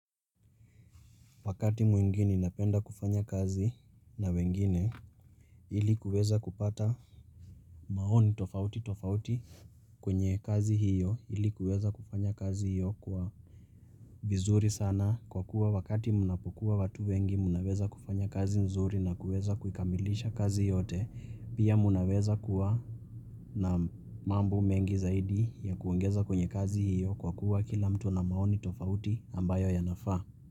Wakati mwingine, napenda kufanya kazi na wengine, ili kuweza kupata maoni tofauti tofauti kwenye kazi hiyo, ili kuweza kufanya kazi hiyo kwa vizuri sana kwa kuwa wakati mnapokuwa watu wengi, mnaweza kufanya kazi nzuri na kuweza kukamilisha kazi yote, pia mnaweza kuwa na mambo mengi zaidi ya kuungeza kwenye kazi hiyo kwa kuwa kila mtu na maoni tofauti ambayo yanafa.